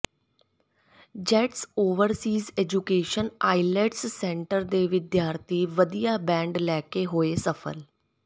Jets overseas education IELTS centre ਦੇ ਵਿਦਿਆਰਥੀ ਵਧੀਆ ਬੈਂਡ ਲੈ ਕੇ ਹੋਏ ਸਫ਼ਲ